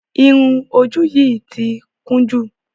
Irun ojú yìí ti kún jù.